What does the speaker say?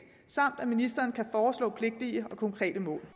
samt at ministeren kan foreslå pligtige og konkrete mål